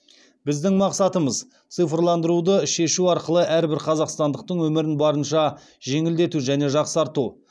біздің мақсатымыз цифрландыруды шешу арқылы әрбір қазақстандықтың өмірін барынша жеңілдету және жақсарту